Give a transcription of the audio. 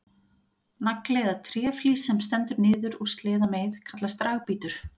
Nagli eða tréflís sem stendur niður úr sleðameið kallast dragbítur.